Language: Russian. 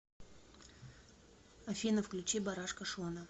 афина включи барашка шона